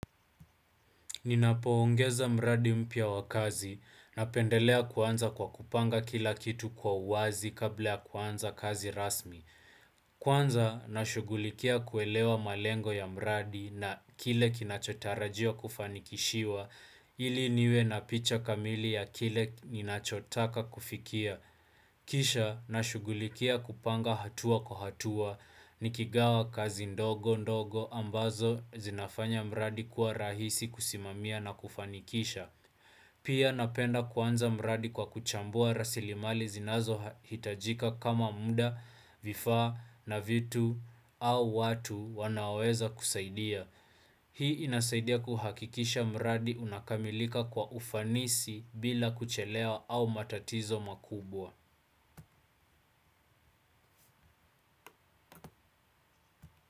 Ninapoongeza mradi mpia wa kazi napendelea kuanza kwa kupanga kila kitu kwa uwazi kabla kuanza kazi rasmi. Kwanza nashughulikia kuelewa malengo ya mradi na kile kinachotarajiwa kufanikishiwa ili niwe na picha kamili ya kile ninachotaka kufikia. Kisha, nashughulikia kupanga hatua kwa hatua nikigawa kazi ndogo ndogo ambazo zinafanya mradi kuwa rahisi kusimamia na kufanikisha Pia napenda kuanza mradi kwa kuchambua rasilimali zinazohitajika kama muda vifaa na vitu au watu wanaoweza kusaidia Hii inasaidia kuhakikisha mradi unakamilika kwa ufanisi bila kuchelewa au matatizo makubwa.